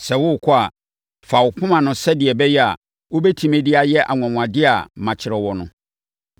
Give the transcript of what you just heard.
Sɛ worekɔ a, fa wo poma no sɛdeɛ ɛbɛyɛ a, wobɛtumi de ayɛ anwanwadeɛ a makyerɛ wo no.”